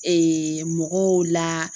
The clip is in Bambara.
mɔgɔw la